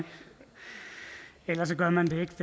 eller også gør man det ikke